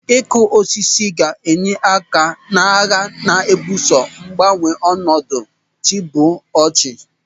Ịkụ osisi ga-enye aka n'agha a na-ebuso mgbanwe ọnọdụ chiụbọchị.